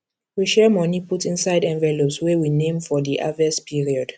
we share money put inside envelopes wey we name for di harvest period